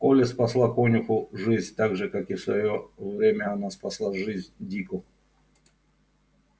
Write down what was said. колли спасла конюху жизнь так же как в своё время она спасла жизнь дику